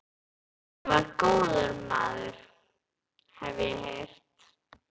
Hann var góður maður, hef ég heyrt